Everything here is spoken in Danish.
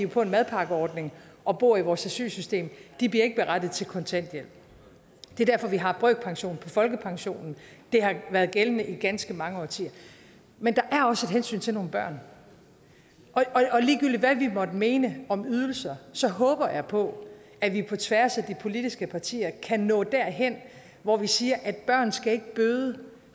på en madpakkeordning og bor i vores asylsystem de er ikke berettiget til kontanthjælp det er derfor vi har brøkpension på folkepensionen det har været gældende i ganske mange årtier men der er også et hensyn til nogle børn ligegyldigt hvad vi måtte mene om ydelser håber jeg på at vi på tværs af de politiske partier kan nå derhen hvor vi siger at børn ikke skal bøde